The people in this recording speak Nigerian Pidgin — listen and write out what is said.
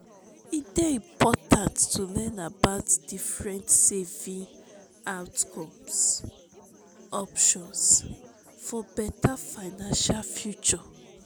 e dey important to learn about different saving options for beta financial future.